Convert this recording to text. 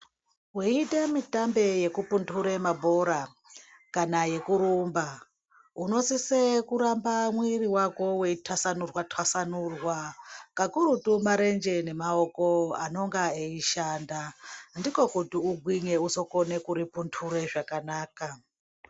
Weiite mitambo yekupundire mabhora kana yekurumba unosise kuramba mwiri wako weitasanurwa tasanurwa kakurutu marenje neamaoko anonga eishanda ndiko kuti igwinye uzokone kuripundure zvakanaka.